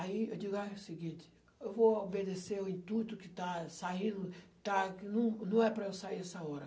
Aí eu digo, é o seguinte, eu vou obedecer o intuito que está saindo, está, não é não é para eu sair nessa hora.